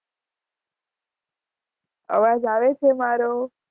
અવાજ આવે છે મારો